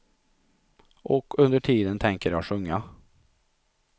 Och under tiden tänker jag sjunga.